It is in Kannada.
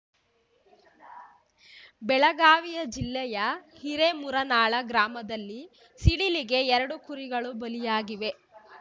ಬೆಳಗಾವಿಯ ಜಿಲ್ಲೆಯ ಹಿರೇಮುರನಾಳ ಗ್ರಾಮದಲ್ಲೂ ಸಿಡಿಲಿಗೆ ಎರಡು ಕುರಿಗಳು ಬಲಿಯಾಗಿವೆ